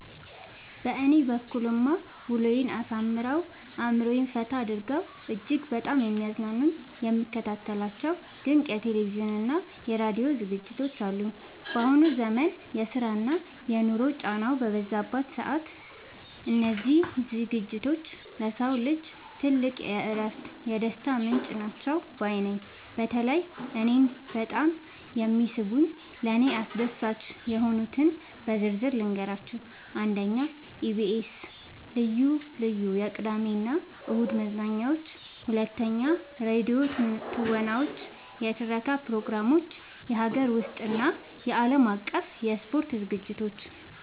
በእኔ በኩልማ ውሎዬን አሳምረው፣ አእምሮዬን ፈታ አድርገው እጅግ በጣም የሚያዝናኑኝና የምከታተላቸው ድንቅ የቴሌቪዥንና የራዲዮ ዝግጅቶች አሉኝ! ባሁኑ ዘመን የስራና የኑሮ ጫናው በበዛበት ሰዓት፣ እነዚህ ዝግጅቶች ለሰው ልጅ ትልቅ የእረፍትና የደስታ ምንጭ ናቸው ባይ ነኝ። በተለይ እኔን በጣም የሚስቡኝንና ለእኔ አስደሳች የሆኑትን በዝርዝር ልንገራችሁ፦ 1. የኢቢኤስ (EBS TV) ልዩ ልዩ የቅዳሜና እሁድ መዝናኛዎች 2. የራዲዮ ተውኔቶችና የትረካ ፕሮግራሞች 3. የሀገር ውስጥና የዓለም አቀፍ የስፖርት ዝግጅቶች